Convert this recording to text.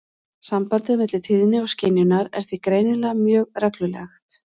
Sambandið á milli tíðni og skynjunar er því greinilega mjög reglulegt.